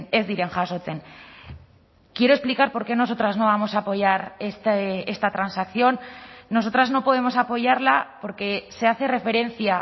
ez diren jasotzen quiero explicar porque nosotras no vamos a apoyar esta transacción nosotras no podemos apoyarla porque se hace referencia